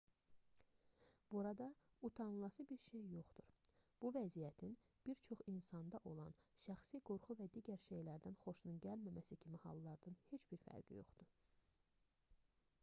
burda utanılası bir şey yoxdur bu vəziyyətin bir çox insanda olan şəxsi qorxu və digər şeylərdən xoşunun gəlməməsi kimi hallardan heç bir fərqi yoxdur